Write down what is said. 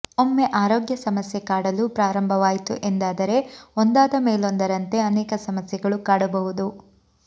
ಒಮ್ಮೆ ಆರೋಗ್ಯ ಸಮಸ್ಯೆ ಕಾಡಲು ಪ್ರಾರಂಭವಾಯಿತು ಎಂದಾದರೆ ಒಂದಾದಮೇಲೊಂದರಂತೆ ಅನೇಕ ಸಮಸ್ಯೆಗಳು ಕಾಡಬಹುದು